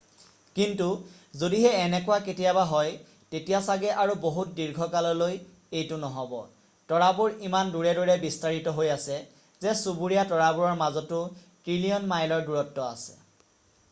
কিন্তু যদিহে এনেকুৱা কেতিয়াবা হয় তেতিয়া চাগে আৰু বহুত দীৰ্ঘকাললৈ এইটো নহব তৰাবোৰ ইমান দূৰে দূৰে বিস্তাৰিত হৈ আছে যে চুবুৰীয়া তৰাবোৰৰ মাজতো ট্ৰিলীয়ন মাইল ৰ দূৰত্ব আছে